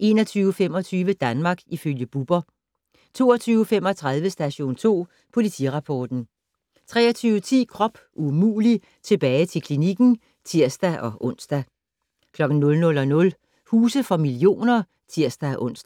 21:25: Danmark ifølge Bubber 22:35: Station 2 Politirapporten 23:10: Krop umulig - tilbage til klinikken (tir-ons) 00:00: Huse for millioner (tir-ons)